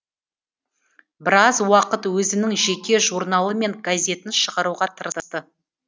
біраз уақыт өзінің жеке журналы мен газетін шығаруға тырысты